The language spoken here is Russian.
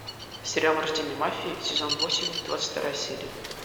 сериал рождение мафии сезон восемь двадцать вторая серия